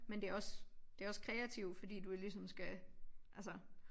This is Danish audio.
Men det også det også kreativ fordi du jo ligesom skal altså